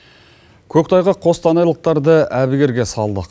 көктайғақ қостанайлықтарды әбігерге салды